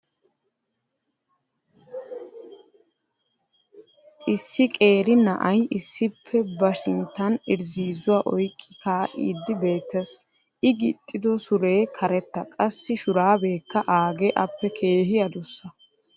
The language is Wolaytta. issi qeeri na'ay issippe ba sintan irzziizzuwa oyqqi kaaidi beetees. i gixxido suree karetta qassi shuraabeekka aagee appe keehi adussa.